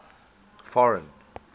foreign